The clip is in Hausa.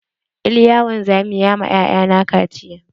Iliya wanzami ya ma 'ya'ya na kaciya.